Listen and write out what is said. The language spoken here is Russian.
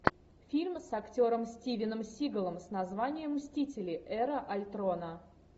фильм с актером стивеном сигалом с названием мстители эра альтрона